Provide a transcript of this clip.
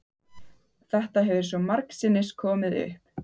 Þetta hefur svo margsinnis komið upp.